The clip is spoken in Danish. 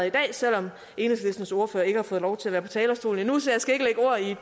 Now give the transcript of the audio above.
i dag selv om enhedslistens ordfører ikke har fået lov til at være på talerstolen endnu så jeg skal